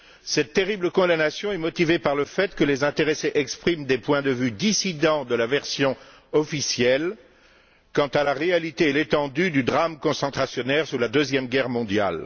Cette terrible condamnation est motivée par le fait que les intéressés expriment des points de vue dissidents de la version officielle quant à la réalité et l'étendue du drame concentrationnaire lors de la Deuxième Guerre mondiale.